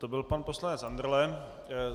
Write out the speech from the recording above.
To byl pan poslanec Andrle.